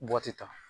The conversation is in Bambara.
Bɔti ta